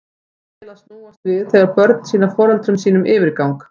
Dæmið á það til að snúast við þegar börn sýna foreldrum sínum yfirgang.